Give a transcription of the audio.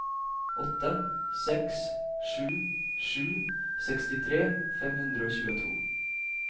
åtte seks sju sju sekstitre fem hundre og tjueto